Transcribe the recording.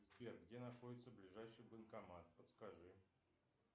сбер где находится ближайший банкомат подскажи